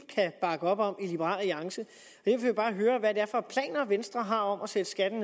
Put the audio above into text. kan bakke op om i liberal alliance jeg vil bare høre hvad det er for planer venstre har om at sætte skatten